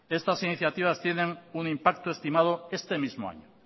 estas iniciativas tiene un impacto estimado este mismo año